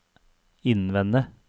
innvende